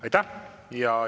Aitäh!